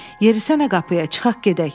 Yerisənə qapıya çıxaq gedək.